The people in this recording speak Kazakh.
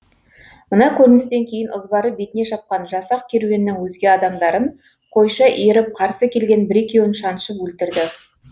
мына көріністен кейін ызбары бетіне шапқан жасақ керуеннің өзге адамдарын қойша иіріп қарсы келген бір екеуін шаншып өлтірді